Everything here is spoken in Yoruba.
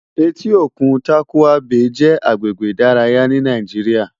Éti ókún Tàkúwá Bé jè àgbégbé idàráyá ni Nàijiriá